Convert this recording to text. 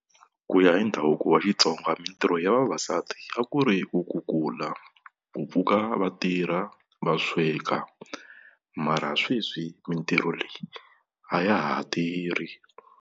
Ku ya hi ndhavuko wa Xitsonga mitirho ya vavasati a ku ri ku kukula, ku pfuka vatirha va sweka mara sweswi mitirho leyi a ya ha tirhi.